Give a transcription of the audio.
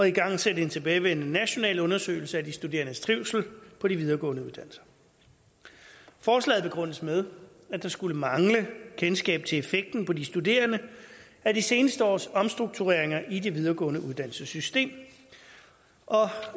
igangsætter en tilbagevendende national undersøgelse af de studerendes trivsel på de videregående uddannelser forslaget begrundes med at der skulle mangle kendskab til effekten på de studerende af de seneste års omstruktureringer i det videregående uddannelsessystem